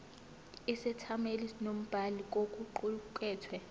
isethameli nombhali kokuqukethwe